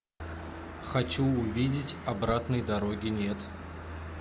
хочу увидеть обратной дороги нет